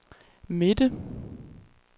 midte